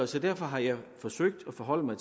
så derfor har jeg forsøgt at forholde mig